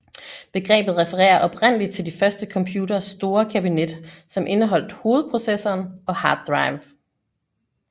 Begrebet refererer oprindeligt til de første computeres store kabinet som indeholdt hovedprocessoren og hard drive